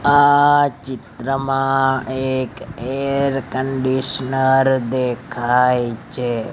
આ ચિત્રમાં એક એર કન્ડિશનર દેખાય છે.